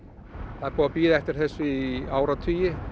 er búið að bíða eftir þessu í áratugi